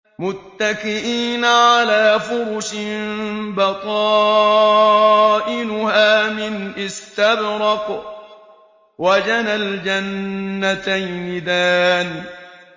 مُتَّكِئِينَ عَلَىٰ فُرُشٍ بَطَائِنُهَا مِنْ إِسْتَبْرَقٍ ۚ وَجَنَى الْجَنَّتَيْنِ دَانٍ